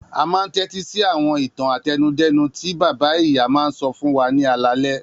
A máa ń tẹ́tí sí àwọn ìtàn àtẹnudẹ́nu tí bàbá-ìyá máa ń sọ fún wa ní alaalẹ́.